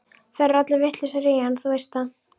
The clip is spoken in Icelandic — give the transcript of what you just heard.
Þær eru allar vitlausar í hann, þú veist það.